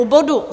U bodu